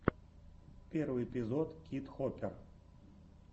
первый эпизод кид хопер